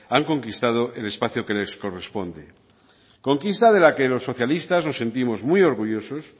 han conquistado el espacio que les corresponde conquista de la que los socialistas nos sentimos muy orgullosos